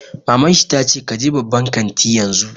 Maman shi ta ce 'Ka je babban kantin yanzu'!